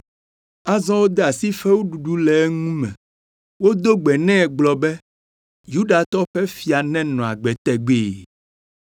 Azɔ wode asi fewuɖuɖu le eŋu me. Wodo gbe nɛ gblɔ be, “Yudatɔwo ƒe fia nenɔ agbe tegbee!”